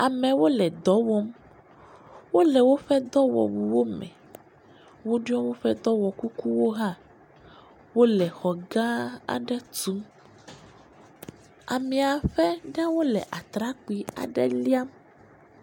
Amewo le dɔwɔm wole woƒe dɔwɔwu wome, woɖiɔ woƒe dɔwɔ kukuwo hã, wole xɔ gã aɖe tum, amiaƒe ɖewo le atrakpui aɖe liam.